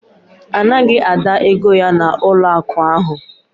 A naghị Ada ego ya n'ụlọakụ ahụ